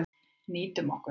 Nýtum okkur það.